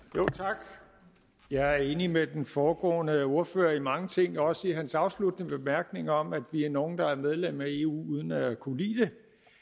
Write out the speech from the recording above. tak jeg er enig med den foregående ordfører i mange ting også i hans afsluttende bemærkninger om at vi er nogle der er medlem af eu uden at kunne lide